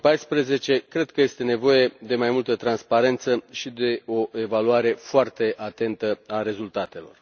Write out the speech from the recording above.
2014. Cred că este nevoie de mai multă transparență și de o evaluare foarte atentă a rezultatelor.